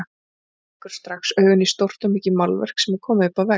Hann rekur strax augun í stórt og mikið málverk sem er komið upp á vegg.